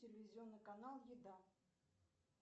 телевизионный канал еда